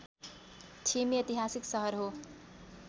ठिमी ऐतिहासिक सहर हो